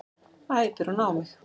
æpir hún á mig.